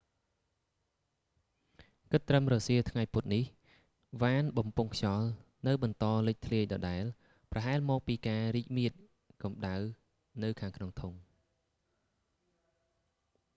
គិតត្រឹមរសៀលថ្ងៃពុធនេះ វ៉ានបំពង់ខ្យល់នៅបន្តលេចធ្លាយដដែល ប្រហែលមកពីការរីកមាឌកម្តៅនៅខាងក្នុងធុង